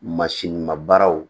Masini ma baaraw